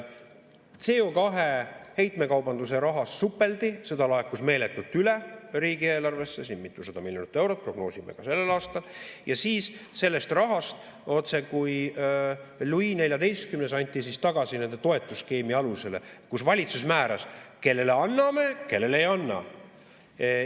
CO2 heitmekaubanduse rahas supeldi, seda laekus meeletult üle riigieelarvesse, siin mitusada miljonit eurot prognoosime ka sellel aastal, ja siis sellest rahast – otsekui Louis XIV – anti tagasi nende toetusskeemi alusele, kus valitsus määras, kellele anname, kellele ei anna.